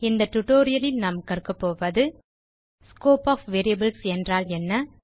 இந்த tutorial லில் நாம் கற்க போவது ஸ்கோப் ஒஃப் வேரியபிள் என்றால் என்ன